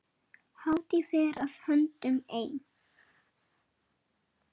Hátíð fer að höndum ein.